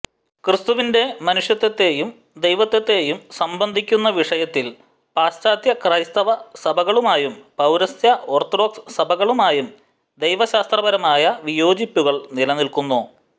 ക്രിസ്തുവിന്റെ മനുഷ്യത്വത്തെയും ദൈവത്വത്തെയും സംബന്ധിക്കുന്ന വിഷയത്തിൽ പാശ്ചാത്യ ക്രൈസ്തവ സഭകളുമായും പൌരസ്ത്യ ഓർത്തഡോക്സ് സഭകളുമായും ദൈവശാസ്ത്രപരമായ വിയോജിപ്പുകൾ നിലനിൽക്കുന്നു